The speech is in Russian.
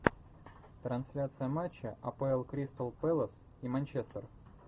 трансляция матча апл кристал пэлас и манчестер